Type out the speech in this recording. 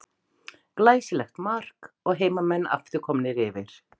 Glæsilegt mark og heimamenn aftur komnir yfir.